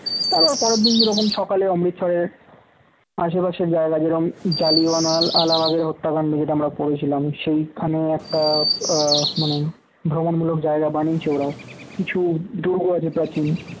তার আবার পরের দিন সকালে অমৃতসরের আশেপাশে জায়গা যেরকম জালিয়ানওয়ালাবাগ এর হত্যাকাণ্ড যেটা আমরা পড়েছিলাম সেইখানে একটা আহ মানে ভ্রমণমূলক জায়গা বানিয়েছে ওঁরাও কিছু দুর্গ আছে প্রাচীন